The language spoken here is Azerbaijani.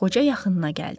Qoca yaxınına gəldi.